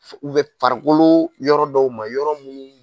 Sugu bɛ farikolo yɔrɔ dɔw ma yɔrɔ munnu